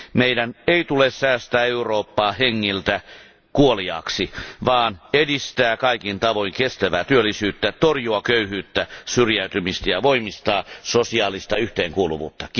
Meidän ei tule säästää Eurooppaa hengiltä kuoliaaksi, vaan edistää kaikin tavoin kestävää työllisyyttä, torjua köyhyyttä ja syrjäytymistä ja voimistaa sosiaalista yhteenkuuluvuutta.